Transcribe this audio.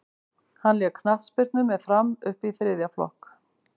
hann lék knattspyrnu með fram upp í þriðja flokk